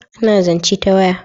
A na zance ta waya